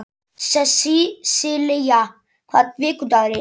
Sessilía, hvaða vikudagur er í dag?